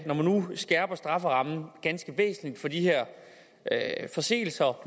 når man nu skærper strafferammen ganske væsentligt for de her forseelser